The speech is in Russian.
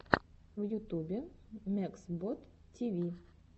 в ютубе мексбод тиви